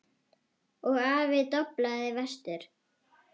Og aftur doblaði vestur.